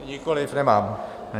Nikoliv, nemám.